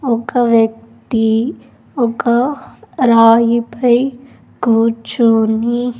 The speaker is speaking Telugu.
ఒక వ్యక్తి ఒక రాయిపై కూర్చొని.